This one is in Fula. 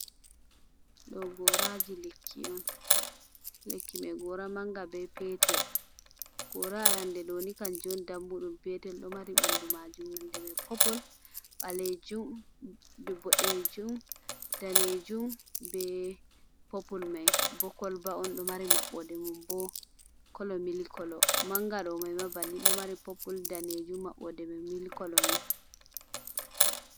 Ɗo goraji lekki on. Lekki mai gora manga be petel gora rande ɗoni kan jon dammuɗum petel ɗo mari ɓandu majum nonde mai popol ɓalejum dib boɗejum danejum be popul mai bo koloba on ɗo mari maɓɓode mun bo kolo milik kolo manga do mai ma banni ɗo mari popul danejum maɓɓode mai milik kolo ni.